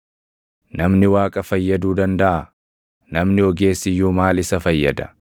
“Namni Waaqa fayyaduu dandaʼaa? Namni ogeessi iyyuu maal isa fayyada?